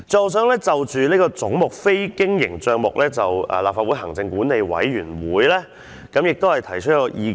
我想就總目的非經營帳目項目，向立法會行管會提出一項意見。